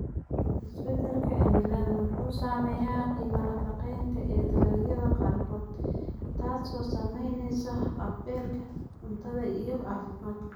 Isbeddelka cimiladu wuxuu saameeyaa qiimaha nafaqeynta ee dalagyada qaarkood, taasoo saamaysa haqab-beelka cuntada iyo caafimaadka.